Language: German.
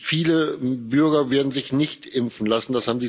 Viele Bürger werden sich nicht impfen lassen.